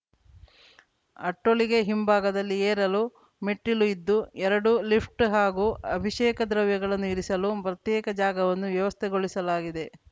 ಅಟ್ಟೊಳಿಗೆ ಹಿಂಭಾಗದಲ್ಲಿ ಏರಲು ಮೆಟ್ಟಿಲು ಇದ್ದು ಎರಡು ಲಿಫ್ಟ್‌ ಹಾಗೂ ಅಭಿಷೇಕ ದ್ರವ್ಯಗಳನ್ನು ಇರಿಸಲು ಪ್ರತ್ಯೇಕ ಜಾಗವನ್ನು ವ್ಯವಸ್ಥೆಗೊಳಿಸಲಾಗಿದೆ